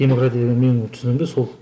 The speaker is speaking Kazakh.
демократия деген менің түсінігімде сол